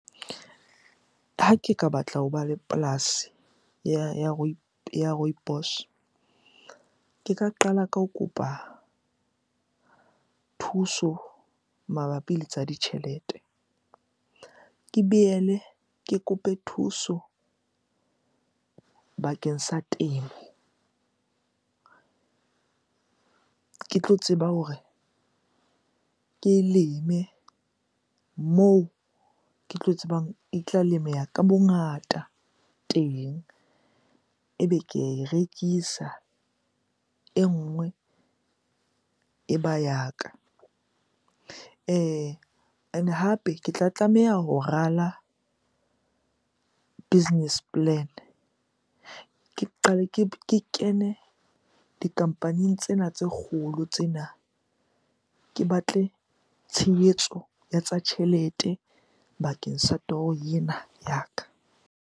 Ha ke ka batla hoba le polasi ya Rooibos. Ke ka qala ka ho kopa thuso mabapi le tsa ditjhelete. Ke boele ke kope thuso bakeng sa temo ke tlo tseba hore ke e leme moo ke tlo tsebang e tla lemeha ka bongata teng. Ebe ke ae rekisa, e nngwe e ba ya ka. Ene hape ke tla tlameha ho rala business plan. Ke qale, ke kene di-company-ing tsena tse kgolo tsena. Ke batle tshehetso ya tsa tjhelete bakeng sa toro ena ya ka.